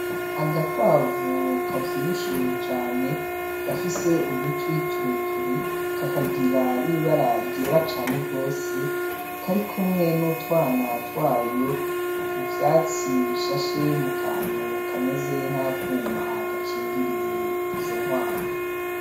Agakwavu kavyibushe cane gafise udutwi tureture kakagira n’ibara ryera cane rwose kari kumwe n’utwana twayo mu vyatsi bishashe mu kantu kameze nka kuma gakingiriye izo nkwavu.